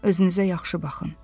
“Özünüzə yaxşı baxın.